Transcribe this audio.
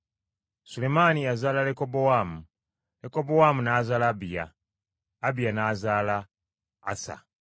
Sulemaani yazaala Lekobowaamu, Lekobowaamu n’azaala Abiya, Abiya n’azaala Asa.